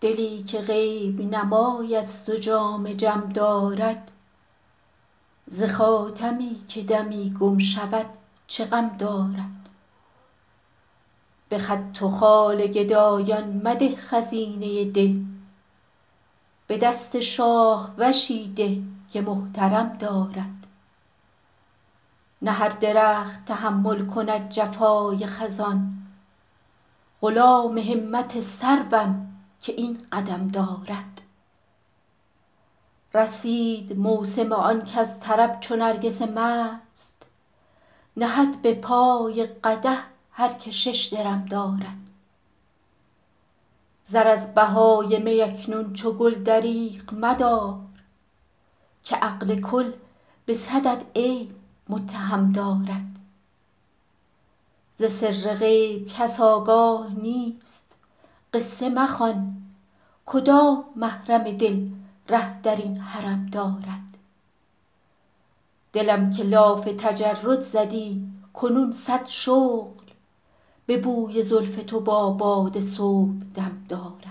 دلی که غیب نمای است و جام جم دارد ز خاتمی که دمی گم شود چه غم دارد به خط و خال گدایان مده خزینه دل به دست شاهوشی ده که محترم دارد نه هر درخت تحمل کند جفای خزان غلام همت سروم که این قدم دارد رسید موسم آن کز طرب چو نرگس مست نهد به پای قدح هر که شش درم دارد زر از بهای می اکنون چو گل دریغ مدار که عقل کل به صدت عیب متهم دارد ز سر غیب کس آگاه نیست قصه مخوان کدام محرم دل ره در این حرم دارد دلم که لاف تجرد زدی کنون صد شغل به بوی زلف تو با باد صبحدم دارد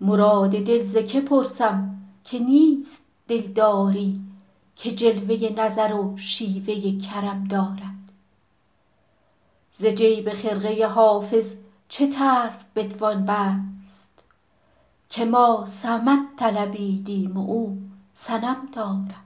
مراد دل ز که پرسم که نیست دلداری که جلوه نظر و شیوه کرم دارد ز جیب خرقه حافظ چه طرف بتوان بست که ما صمد طلبیدیم و او صنم دارد